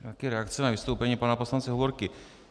Také reakce na vystoupení pana poslance Hovorky.